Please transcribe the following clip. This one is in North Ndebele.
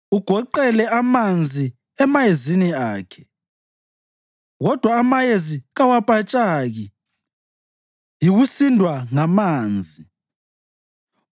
Ugoqele amanzi emayezini akhe, kodwa amayezi kawapatshaki yikusindwa ngamanzi.